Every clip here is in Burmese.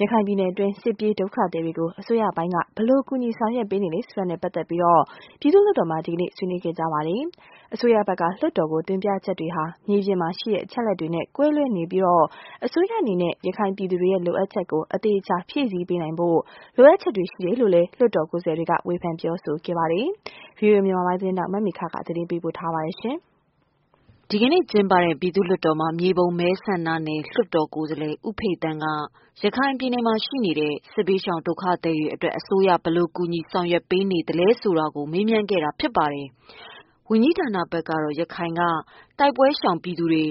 ရခိုင်ပြည်နယ်တွင်း စစ်ပြေးဒုက္ခသည်တွေကိုအစိုးရပိုင်းက ဘယ်လိုကူညီဆောင်ရွက်ပေးနေလဲဆိုတာနဲ့ပတ်သက်လို့ ပြည်သူ့လွှတ်တော်မှာ ဒီကနေ့ ဆွေးနွေးကြပါတယ်။ အစိုးရဖက်ကလွှတ်တော်ကိုတင်ပြချက်တွေဟာ မြေပြင်မှာရှိတဲ့အချက်အလက်တွေနဲ့ကွဲလွဲနေတာပြီးအစိုးရအနေနဲ့ ရခိုင်ပြည်သူတွေရဲ့လိုအပ်ချက်ကိုအသေအချာ ဖြည့်ဆည်းပေးနိုင်ဖို့လိုအပ်ချက်တွေရှိတယ်လို့လွှတ်တော်ကိုယ်စားလှယ်တွေကတော့ ဝေဖန်ခဲ့ကြပါတယ်။ဗွီအိုအေသတင်းထောက်မမေခသတင်းပေးပို့ထားတာပါ။ ဒီနေ့ကျင်းပတဲ့ ပြည်သူ့လွှတ်တော်မှာ မြေပုံမဲဆန္ဒနယ် လွှတ်တော်ကိုယ်စားလှယ်ဦးဖေသန်းက ရခိုင်ပြည်နယ်ရှိ စစ်ဘေးရှောင်ဒုက္ခသည်တွေအတွက်အစိုးရဘယ်လိုကူညီစောင့်ရှောက်ပေးမလဲဆိုတာမေးခဲ့ပါတယ်။ ဝန်ကြီးဌာနဘက်က ရခိုင်ကတိုက်ပွဲရှောင်ပြည်သူတွေ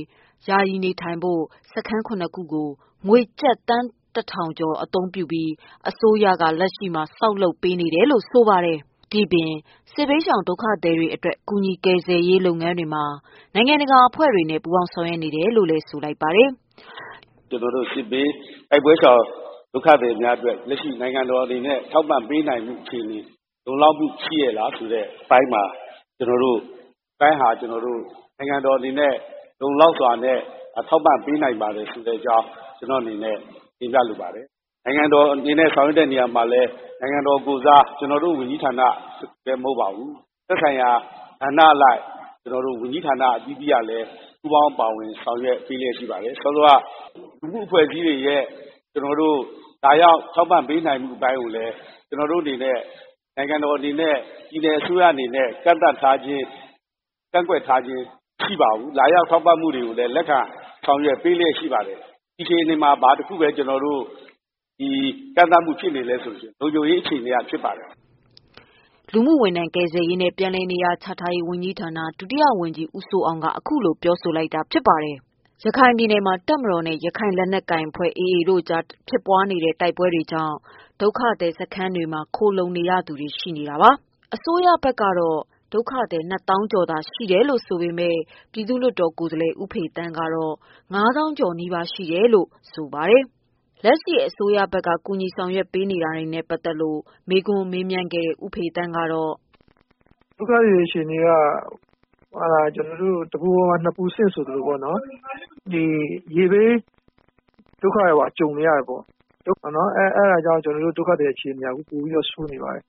ယာယီနေထိုင်ဖို့စခန်း၇ခုကို ငွေကျပ်သန်းတစ်ထောင်ကျော် အသုံးပြုပြီး အစိုးရကလက်ရှိမှာ ဆောက်လုပ်ပေး နေတယ်လို့ ဆိုပါတယ်။ ဒီပြင် စစ်ဘေးရှောင်ဒုက္ခသည်တွေအတွက် ကူညီကယ်ဆယ် ရေးလုပ်ငန်းတွေမှာ နိုင်ငံတကာ အဖွဲ့တွေနဲ့ ပူးပေါင်းဆောင်ရွက်နေတယ်လို့ဆိုပါ တယ်။ “ကျနော်တို့တိုက်ပွဲရှောင်ဒုက္ခသည်များအတွက် လက်ရှိနိုင်ငံတော်အနေနဲ့ ထောက်ပံ့ ပေးနိုင်တာ လုံလောက်မှုရှိရဲ့လားဆိုတာနဲ့ပတ်သတ်လို့ နိုင်ငံတော်အနေနဲ့လုံလောက် စွာနဲ့ ထောက်ပံ့ပေးနိုင်ပါတယ်ဆိုတဲ့ အကြောင်း ကျနော့်အနေနဲ့ ပြောလိုပါတယ်။ နိုင်ငံတော်အနေနဲ့ဆောင်ရွက်တဲ့ နေရာမှာလည်း နိုင်ငံတော်ကိုယ်စား ကျနော်တို့ ဝန်ကြီးဌာနပဲ မဟုတ်ပါဘူး။ သက်ဆိုင်ရာဌာနအလိုက် ဝန်ကြီး ဌာနတွေအသီးသီးကလည်း ပူးပေါင်းပါဝင်လျက်ရှိပါတယ်။ စောစောက လူမှုအဖွဲ့အစည်းတွေလာ ရောက် ထောက်ပံ့ပေးနေမှုအပိုင်းကိုလည်း ကျနော်တို့ အနေနဲ့ နိုင်ငံတော်အနေနဲ့ ပြည်နယ်အစိုးရအနေနဲ့ သတ်မှတ်ထားခြင်း၊ ကန့်ကွက်ထားခြင်း မရှိပါဘူး။ လာရောက်ထောက်ပံ့တာကို လက်ခံပေးနေပါတယ်။ ဒီအခြေအနေ မှာ ဘာတခုပဲ ကန့်သတ်မှုဖြစ်နေလဲဆိုတော့ လုံခြုံရေးအရေ ကန့်သတ်မှုဘဲရှိပါတယ်” လူမှုဝန်ထမ်းကယ်ဆယ်ရေးနဲ့ ပြန်လည်နေရာချထားရေးဝန်ကြီးဌာန ဒုတိယဝန်ကြီးဦးစိုးအောင် အခုလိုပြောဆိုခဲ့တာဖြစ်ပါတယ်။ ရခိုင်ပြည်နယ်မှာတပ်မတော်နဲ့ရခိုင်လက်နက်ကိုင်အဖွဲ့AAတို့ကြားဖြစ်ပွား နေတဲ့တိုက်ပွဲတွေကြောင့်ဒုက္ခသည်စခန်းတွေမှာခိုလှုံနေရသူအရည်အတွက်ဟာ အစိုးရ ဘက်ကတော့ ဒုက္ခသည် ၂သောင်းကျော်သာရှိတယ်လို့ဆိုပေမယ့် ပြည်သူ့လွှတ် တော်ကိုယ်စားလှယ် ဦးဖေသန်းကတော့ ၅သောင်းကျော်နီးပါးရှိတယ်လို့ဆိုပါတယ်။ လက်ရှိ အစိုးရဘက်က ကူညီဆောင်ရွက်နေမှုတွေနဲ့ပတ်သတ်လို့ မေးခွန်းမေးမြန်းခဲ့ တဲ့ ဦးဖေသန်းက “ဒုက္ခသည်အခြေအနေက တပူပေါ် ၂ပူဆင့်ပေါ့နော်။ ဒီရေဘေးဒုက္ခပါကြုံနေရတယ်။ အဲဒါ ကြောင့် အခြေအနေဆိုးနေပါတယ်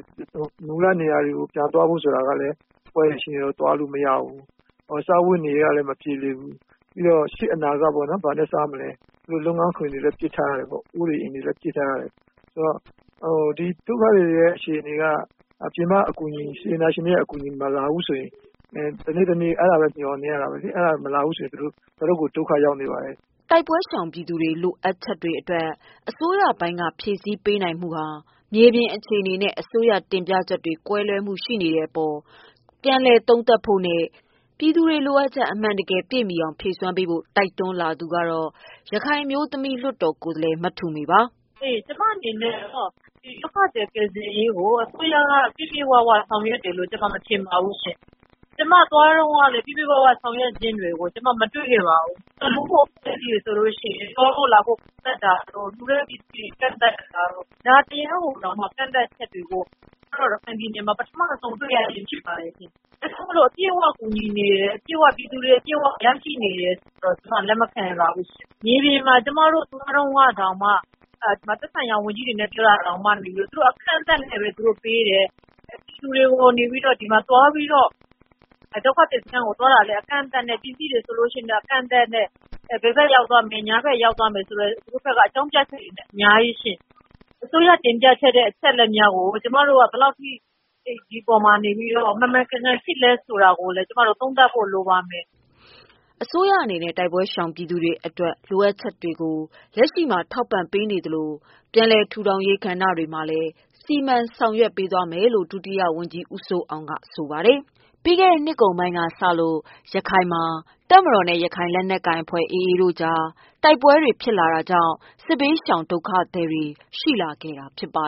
။ မူလနေရာတွေကို ပြန်ဖို့ဆိုတာကလည်း တိုက်ပွဲတွေရှိနေလို့ ပြန်သွားလို့ မရဘူး။ စားဝတ်နေရေးကလည်း မပြေလည်ဘူး။ ပြီးတော့ရှေ့အနာဂါတ်ဘာနဲ့ စားမလဲ။ လုပ်ငန်းခွင် အိုးအိမ်တွေလည်း ပစ်ထားရတယ်။ ဒုက္ခသည်တွေအခြေအနေက ပြင်ပအကူညီမျှော်နေရ တယ်။ အဲဒါမလာရင် တော်တော်လေး ဒုက္ခရောက်နေပါတယ်။” တိုက်ပွဲရှောင်ပြည်သူတွေ လိုအပ်ချက်အတွက် အစိုးရပိုင်းဘက်က ဖြည့်ဆည်းပေးနိုင် မှုဟာ မြေပြင်အခြေအနေနဲ့ အစိုးရတင်ပြချက်တွေ ကွဲလွဲမှုတွေရှိနေတဲ့အပေါ် သုံးသပ်ဖို့နဲ့ ပြည်သူတွေလိုအပ်ချက် အမှန်တကယ်ပြည့်အောင်ဖြည့်ပေးဖို့ တိုက်တွန်းလိုက်သူ ကတော့ ရခိုင်အမျိုးသမီးလွှတ်တော်ကိုယ်စားလှယ် မထုမေပါ။ “ကျမအနေနဲ့ကတော့ အစိုးရက ဒုက္ခသည်ကိစ္စပြည့်ပြည့်ဝဝဆောင်ရွက်တယ်လို့မထင် ပါဘူး။ ကျမသွားတုန်းကပြည့်ပြည့်ဝဝဆောင်ရွက်တာမတွေ့ခဲ့ပါဘူး။ လူမှုအဖွဲ့စည်း တွေကိုဆို သွားဖို့လာဖို့ လှုဖို့ကန့်သတ်တာ၊ လှုမယ့်ပစ္စည်းကန့်သတ်တာတို့၊ သဒ္ဒါတရားတောင်ကန့်သတ်တာ ကျမတို့ရခိုင်ပြည်နယ်မှာ ပထမဆုံးတွေ့ရတာပါ။အပြည့်အ၀ ကူညီနေတယ် ပြည်သူတွေအပြည့်အ၀ ရရှိနေတယ်ဆိုတာ ကျမ လက်မခံနိုင်ပါဘူး။ မြေပြင်မှာ ကျမတို့သွား တုန်းကတောင် သက်ဆိုင်ရာ လူကြီးတွေနဲ့ သွားတာတောင် အကန့်အသတ်နဲ့ပဲ လှုတာတွေပေးလုပ်တယ်။ ဒုက္ခသည်စခန်းကို သွားတာလည်း အကန့်အသတ်နဲ့ ပစ္စည်းတွေတောင် အကန့်အသတ်နဲ့ ဘယ်ဘက်ရောက်မယ်၊ ညာဘက်ရောက်မယ်ဆိုပြီး အကြောင်းပြချက်တွေလဲ အများကြီး။ အစိုးရ တင်ပြတဲ့အချက်အလက်တွေကကို ကျမတို့က ဘယ်လောက်အထိ ဒီအပေါ်မှာ နေပြီးတော့ မှန်မှန်ကန်ကန်ရှိသလဲဆိုတာ ဒီအပေါ်မှာ သုံးသပ်ဖို့ လိုပါမယ်။” အစိုးရအနေနဲ့ တိုက်ပွဲရှောင်ပြည်သူတွေ အတွက်လိုအပ်ချက်ကိုလက်ရှိမှာထောက်ပံ့ဆောင်ရွက်ပေးနေသလိုပြန်လည်ထူထောင်ရေးကဏ္ဍတွေမှာလည်းစီမံဆောင်ရွက်ပေးသွားမယ်လို့ဒုတိယဝန်ကြီးဦးစိုးအောင်ကပြောပါတယ်။ ပြီးခဲ့တဲ့နှစ်ကုန်ပိုင်းကစလို့ရခိုင်မှာ တပ်မတော်နဲ့ ရခိုင်လက်နက်ကိုင်အဖွဲ့ AA တို့ကြားတိုက်ပွဲ တွေကြောင့် စစ်ဘေးဒုက္ခသည် တွေ ရှိလာခဲ့တာဖြစ်ပါ